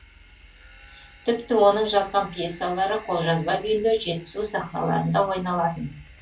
тіпті оның жазған пьесалары қолжазба күйінде жетісу сахналарында ойналатын